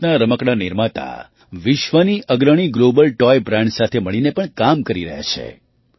ભારતના રમકડાં નિર્માતા વિશ્વની અગ્રણીglobal તોય બ્રાન્ડ્સ સાથે મળીને પણ કામ કરી રહ્યા છે